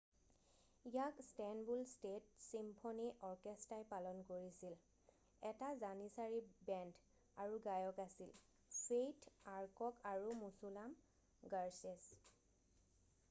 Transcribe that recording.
ইয়াক Istanbul state symphony অৰ্কেষ্টাই পালন কৰিছিল এটা জানিচাৰি বেণ্ড আৰু গায়ক আছিল ফেইথ আৰ্কক আৰু মুছুলাম গাৰছেছ